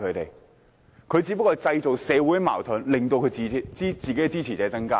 反對派只不過是製造社會矛盾，冀令支持者增加。